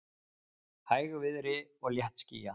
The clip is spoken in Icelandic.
Hægviðri og léttskýjað